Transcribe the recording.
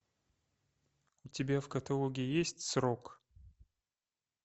у тебя в каталоге есть срок